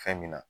Fɛn min na